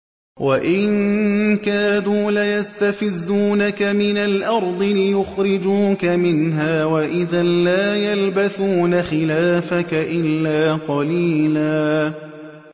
وَإِن كَادُوا لَيَسْتَفِزُّونَكَ مِنَ الْأَرْضِ لِيُخْرِجُوكَ مِنْهَا ۖ وَإِذًا لَّا يَلْبَثُونَ خِلَافَكَ إِلَّا قَلِيلًا